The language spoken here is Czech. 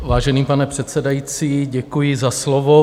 Vážený pane předsedající, děkuji za slovo.